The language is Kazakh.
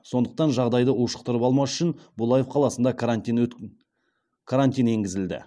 сондықтан жағдайды ушықтырып алмас үшін булаев қаласында карантин енгізілді